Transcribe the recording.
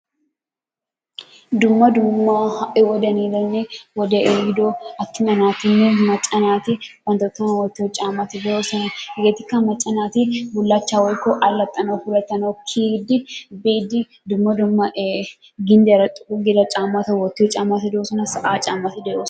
Dumma dumma ha'i wodiyan yiidanne wodee ehiiddo attuma naatinne macca naati bantta tohuwan wottiyo caammati de'oosona, hegetikka macca naati bullaachchaa woykko allaxxanawu puulatanawu kiiyidi biidi dumma dumma ee gindiyara xoqqu giida caammati de'oosona sa'a caammati de'oosona.